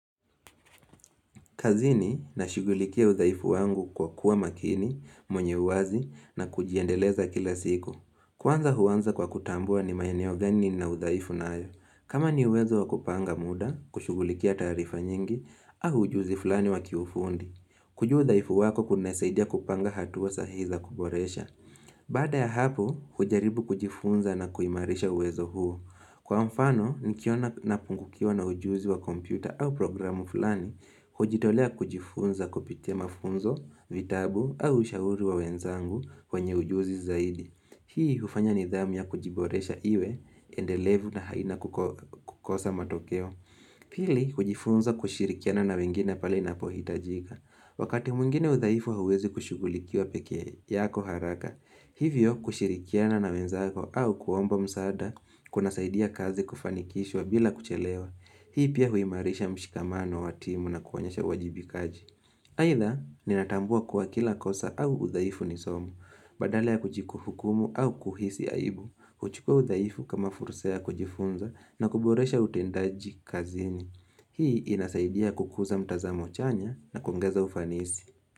Kazini na shughulikia udhaifu wangu kwa kuwa makini, mwenye uwazi na kujiendeleza kila siku. Kwanza huanza kwa kutambua ni maeneo gani nina udhaifu nayo. Kama ni uwezo wa kupanga muda, kushughulikia taarifa nyingi, au ujuzi fulani wa kiufundi. Kujua udhaifu wako kunasaidia kupanga hatua sahihi za kuboresha. Baada ya hapo, hujaribu kujifunza na kuhimarisha uwezo huo. Kwa mfano, nikiona na pungukiwa na ujuzi wa kompyuta au programu fulani, hujitolea kujifunza kupitia mafunzo, vitabu au ushauri wa wenzangu kwenye ujuzi zaidi. Hii ufanya nidhamu ya kujiboresha iwe, endelevu na haina kukosa matokeo. Pili, hujifunza kushirikiana na wengine pale napohitajika. Wakati mwingine udhaifu hauwezi kushughulikiwa pekee yako haraka, hivyo kushirikiana na wenzako au kuomba msaada kuna saidia kazi kufanikishwa bila kuchelewa. Hii pia huimarisha mshikamano wa timu na kuonyesha wajibikaji. Haidha, ninatambua kuwa kila kosa au udhaifu ni somo, badala ya kujikuhukumu au kuhisi aibu, huchukua udhaifu kama fursa ya kujifunza na kuboresha utendaji kazini. Hii inasaidia kukuza mtazamo chanya na kuongeza ufanisi.